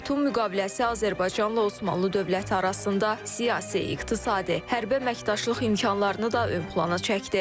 Batum müqaviləsi Azərbaycanla Osmanlı dövləti arasında siyasi, iqtisadi, hərbi əməkdaşlıq imkanlarını da ön plana çəkdi.